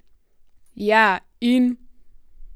Ja, in?